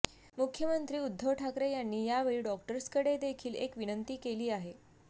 मुख्यमंत्री उद्धव ठाकरे यांनी यावेळी डॉक्टर्सकडे देखील एक विनंती केली आहे